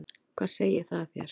Hvað segir það þér?